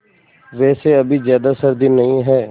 वैसे अभी ज़्यादा सर्दी नहीं है